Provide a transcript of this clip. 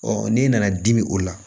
n'e nana dimi o la